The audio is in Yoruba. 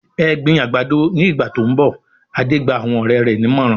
"Ẹ gbin àgbàdo ní ìgbà tó ń bọ̀!" Adé gba àwọn ọ̀rẹ́ rẹ̀ nímọ̀ràn.